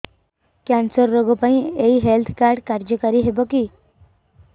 cancer ରୋଗ ପାଇଁ ଏଇ ହେଲ୍ଥ କାର୍ଡ କାର୍ଯ୍ୟକାରି ହେବ କି